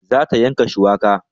Za ta yanka shuwaka